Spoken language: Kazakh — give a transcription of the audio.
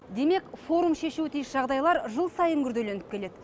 демек форум шешуі тиіс жағдайлар жыл сайын күрделеніп келеді